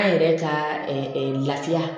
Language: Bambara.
An yɛrɛ ka lafiya